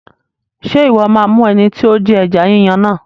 Ṣé Ìwọ́ máa mú ẹni tí ó Jí ẹja Yíyan náà?